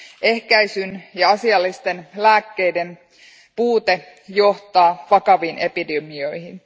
Ehkäisyn ja asiallisten lääkkeiden puute johtaa vakaviin epidemioihin.